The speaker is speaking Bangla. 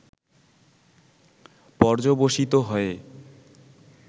পর্যবসিত হয়ে